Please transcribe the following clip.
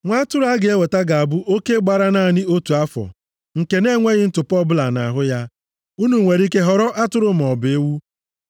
Nwa atụrụ a ga-eweta ga-abụ oke gbara naanị otu afọ, nke na-enweghị ntụpọ ọbụla nʼahụ ya. Unu nwere ike họrọ atụrụ maọbụ ewu.